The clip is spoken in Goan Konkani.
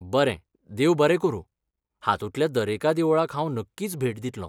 बरें, देव बरें करूं, हातूंतल्या दरेका देवळाक हांव नक्कीच भेट दितलों!